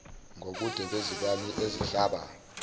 ngobude bezibani ezihlaba